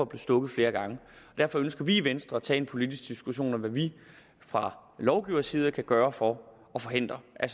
blev stukket flere gange derfor ønsker vi i venstre at tage en politisk diskussion om hvad vi fra lovgivers side kan gøre for at forhindre at